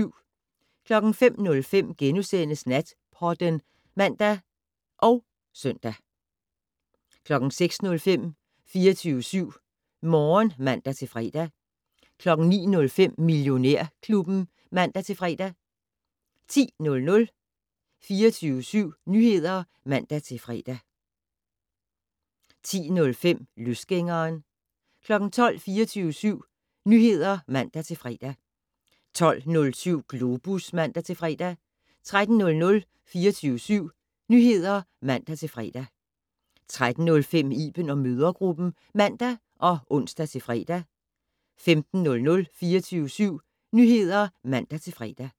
05:05: Natpodden *(man og søn) 06:05: 24syv Morgen (man-fre) 09:05: Millionærklubben (man-fre) 10:00: 24syv Nyheder (man-fre) 10:05: Løsgængeren 12:00: 24syv Nyheder (man-fre) 12:07: Globus (man-fre) 13:00: 24syv Nyheder (man-fre) 13:05: Iben & mødregruppen (man og ons-fre) 15:00: 24syv Nyheder (man-fre)